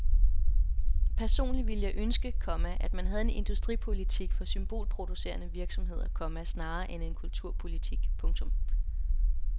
Personligt ville jeg ønske, komma at man havde en industripolitik for symbolproducerende virksomheder, komma snarere end en kulturpolitik. punktum